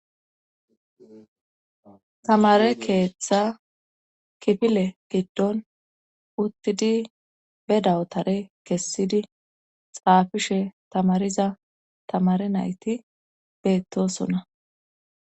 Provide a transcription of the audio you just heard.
tamare keeththa kifile giddon uttidi be dawotare kessidi xaafishe tamariza tamare nayti beettosona